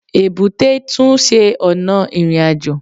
Èbúté tún se ọ̀nà ìrìnàjò